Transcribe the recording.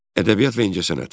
Ədəbiyyat və incəsənət.